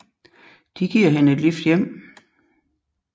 De giver hende et lift hjem